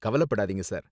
கவலப்படாதீங்க, sir.